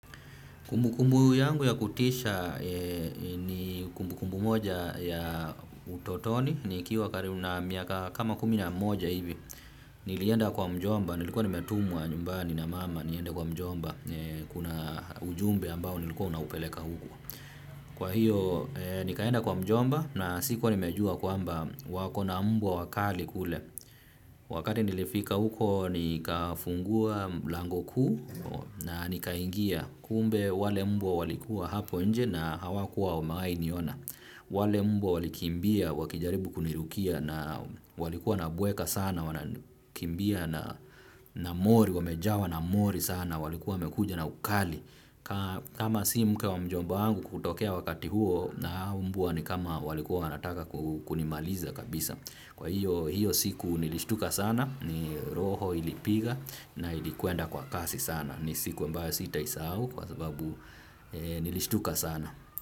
Kumbu kumbu yangu ya kutisha ni kumbu kumbu moja ya utotoni nikiwa karibu na miaka kama kumi na moja hivi nilienda kwa mjomba nilikuwa nimetumwa nyumbani na mama nienda kwa mjomba kuna ujumbe ambao nilikuwa naupeleka huko. Kwa hiyo, nikaenda kwa mjomba na sikuwa nimejua kwamba wako na mbwa wakali kule. Wakati nilifika huko, nikafungua lango kuu na nikaingia kumbe wale mbwa walikuwa hapo nje na hawakuwa wamewainiona. Wale mbwa walikimbia wakijaribu kunirukia na walikuwa nabweka sana. Wanakimbia na mori, wamejawa na mori sana. Walikuwa mekuja na ukali. Kama si mke wa mjomba wangu kutokea wakati huo na mbwa ni kama walikuwa wanataka kunimaliza kabisa. Kwa hiyo siku nilishtuka sana. Ni roho ilipiga na ilikuenda kwa kasi sana. Ni siku mbao sitaisao kwa sababu nilishtuka sana.